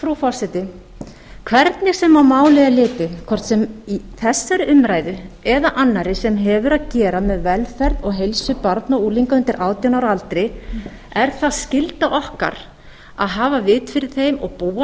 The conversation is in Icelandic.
frú forseti hvernig sem á málið er litið hvort sem þessari umræðu eða annarri sem hefur að gera með velferð og heilsu barna og unglinga undir átján ára aldri er það skylda okkar að hafa vit fyrir þeim og búa